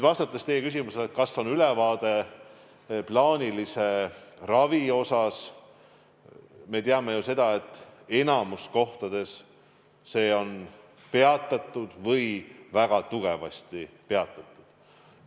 Vastates teie küsimusele, kas on ülevaade plaanilise ravi kohta, ütlen, et me ju teame, kuidas enamikus kohtades on see peatatud.